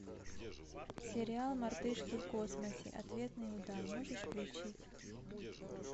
сериал мартышки в космосе ответный удар можешь включить